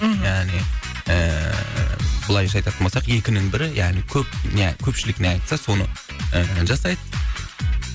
мхм яғни ііі былайша айтатын болсақ екінің бірі яғни көп я көпшілік не айтса соны ііі жасайды